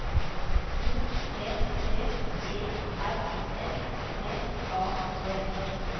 O T T E R S T A D